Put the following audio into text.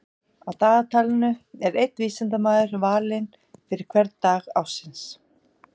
Á dagatalinu er einn vísindamaður valinn fyrir hvern dag ársins.